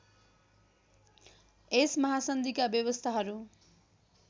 यस महासन्धिका व्यवस्थाहरू